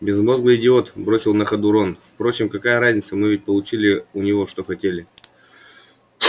безмозглый идиот бросил на ходу рон впрочем какая разница мы ведь получили у него что хотели